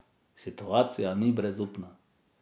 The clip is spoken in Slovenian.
Situacija ni brezupna.